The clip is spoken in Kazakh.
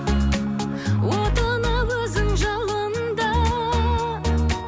отына өзің жалында